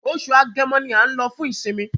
Oṣù Agẹmọ ní a nlo fun isinmi